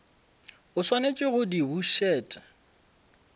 o swanetše go di bušet